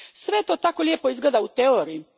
Sve to tako lijepo izgleda u teoriji.